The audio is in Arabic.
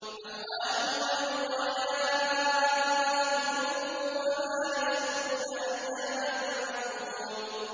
أَمْوَاتٌ غَيْرُ أَحْيَاءٍ ۖ وَمَا يَشْعُرُونَ أَيَّانَ يُبْعَثُونَ